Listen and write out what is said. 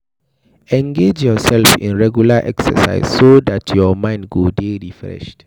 Engage yourself in regular exercise so dat your mind go dey refreshed